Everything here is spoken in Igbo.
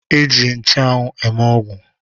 E ji nchụanwụ eme ọgwụ